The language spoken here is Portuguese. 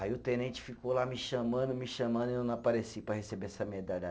Aí o tenente ficou lá me chamando, me chamando e eu não apareci para receber essa medalha.